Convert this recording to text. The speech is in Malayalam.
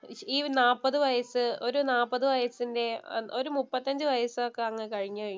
ഈ നാപ്പതു വയസ് ഒരു നാപ്പത് വയസിന്‍റെ ഒരു മുപ്പത്തഞ്ചു വയസൊക്കെ അങ്ങ് കഴിഞ്ഞു കഴിഞ്ഞാല്‍